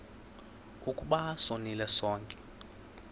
ukuba sonile sonke